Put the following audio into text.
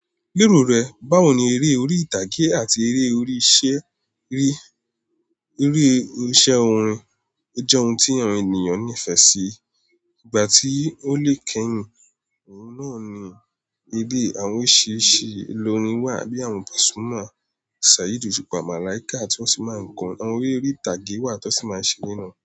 Lero rẹ̀, báwo ni eré orí ìtàgé àti eré orí isẹ rí? Eré orí isẹ orin jẹ́ ohun tí àwọn ènìyàn nífẹ̀ẹ́ sí. Ìgbà tí ó lè kẹ́yìn, ohun náà ni ilé àwọn orisirisi olorin wà bíi àwọn pasuma, Saheed Osupa, Malaika tí wọ́n sì máa ń korin. Àwọn eré ori ìtàgé wà tí wọ́n sì máa ń ṣe nínú.